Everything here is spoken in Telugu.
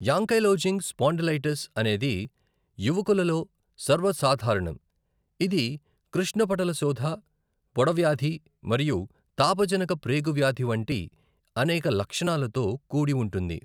యాంకైలోజింగ్ స్పాండిలైటిస్ అనేది యువకులలో సర్వసాధారణం, ఇది కృష్ణపటలశోథ, పొడవ్యాధి మరియు తాపజనక ప్రేగు వ్యాధి వంటి అనేక లక్షణాలతో కూడి ఉంటుంది.